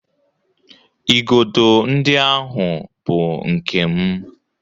Igodo ndị ahụ bụ nke m.